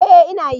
Ee ina yi.